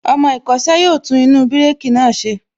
Ọmọ ìkọ́ṣẹ́ yóò tún īmú bírèkī náà ṣe